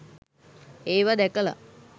ඒවා දැකලා